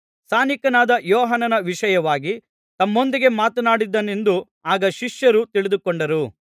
ಸ್ನಾನಿಕನಾದ ಯೋಹಾನನ ವಿಷಯವಾಗಿ ತಮ್ಮೊಂದಿಗೆ ಮಾತನಾಡಿದನೆಂದು ಆಗ ಶಿಷ್ಯರು ತಿಳಿದುಕೊಂಡರು